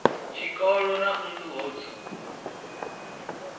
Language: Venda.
tshikoli na nḓuhu ho dzulwa